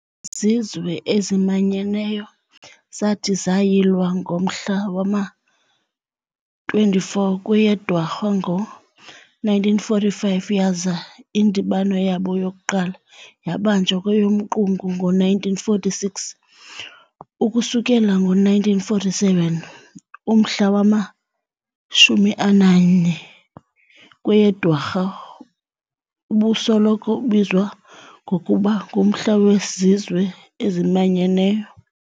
IZizwe eziManyeneyo zathi zayilwa ngomhla wama-24 kweyeDwarha ngo-1945 yaza indibano yabo yokuqala yabanjwa kweyomQungu ngo-1946. Ukususela ngo-1947, umhla wama-24 kweyeDwarha ubusoloko ubizwa ngokuba ngu'Umhla weZizwe eziManyeneyo'.